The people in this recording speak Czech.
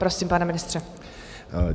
Prosím, pane ministře.